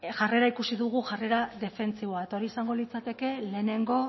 jarrera ikusi dugu jarrera defentsiboa eta hori izango litzateke lehenengo